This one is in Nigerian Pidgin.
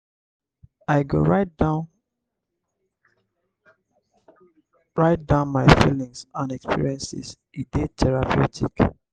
i go write down write down my feelings and experiences; e dey therapeutic.